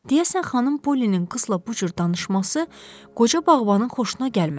Deyəsən xanım Polinin qızla bu cür danışması qoca bağbanın xoşuna gəlmədi.